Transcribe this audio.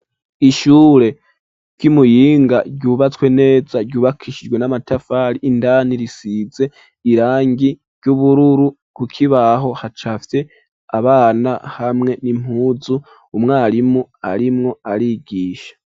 Ishure ryi Muyinga ryubatswe neza ryubakishijwe n'amatafari indani risize irangi ry'ubururu ku kibaho hacafye abana hamwe n'impuzu umwarimu arimwo arigisha.